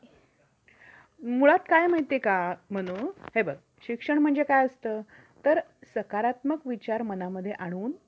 इत्यादी ते कायद्याने त्यांच्या संरक्षणाच्या व्यक्तीची व्यक्ती व्यतिरिक्त उपलब्ध आहे बर ठीक आहे